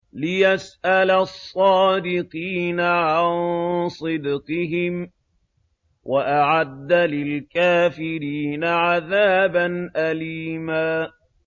لِّيَسْأَلَ الصَّادِقِينَ عَن صِدْقِهِمْ ۚ وَأَعَدَّ لِلْكَافِرِينَ عَذَابًا أَلِيمًا